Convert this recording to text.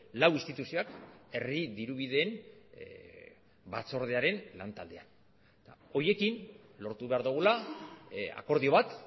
lau instituzioak herri dirubideen batzordearen lantaldean horiekin lortu behar dugula akordio bat